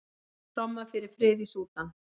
Tromma fyrir frið í Súdan